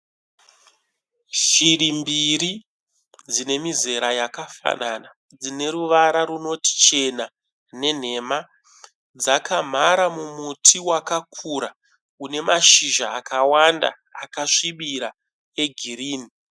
Shiri mbiri dzine mizera yakafanana. Dzine ruvara runoti chena nenhema. Dzakamhara mumuti wakakura une mashizha akawanda akasvibira egirinhi.